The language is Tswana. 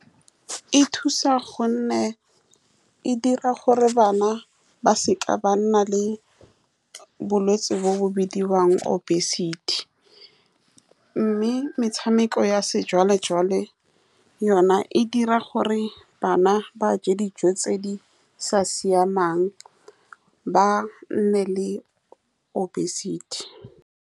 E thusa ka gonne e dira gore bana ba seka ba nna le bolwetse bo bo bidiwang obesity, mme metshameko ya sejwale-jwale yone e dira gore bana ba je dijo tse di sa siamang, ba nne le obesity.